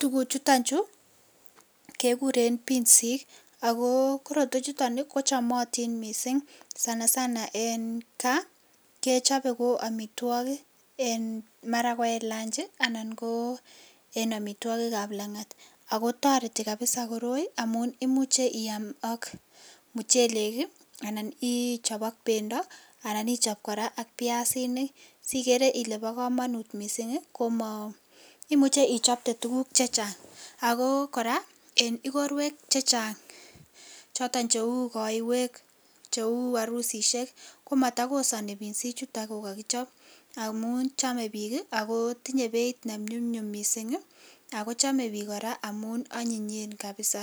Tuguchuton chu kekuren binsik ako korotwechuton kochomotin missing' sana sana en kaa komara kechobe ko omitwogik en maran ko en lunch anan ko en omitwokikab langat ako toreti kabisa koroi amun imuche iaam ak muchelek anan ichob ak bendo anan ichon koraa ak biasinik sikere ile bo komonut missing' ii imuche ichopte tuguk chechang, ako koraa en ikorwek chechang choton cheu koiwek, cheu orusishek komotokosoni binsichuton kokokichob amun chome bik akotinye beit nenyumnyum missing' ii, ako chome bik koraa amun onyinyen kabisa